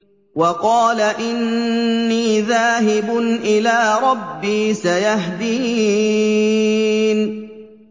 وَقَالَ إِنِّي ذَاهِبٌ إِلَىٰ رَبِّي سَيَهْدِينِ